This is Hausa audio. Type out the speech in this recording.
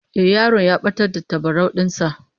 Eh, yaron ya batar da tabarau din sa